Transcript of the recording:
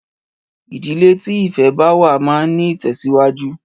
Ìdílé tí ìfẹ báwà máa ń ní ìtẹ̀síwájú.